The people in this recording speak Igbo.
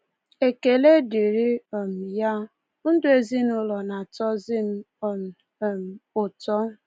Ekele dịrị um ya, ndụ ezinụụlọ na-atọzi m um um ụtọ.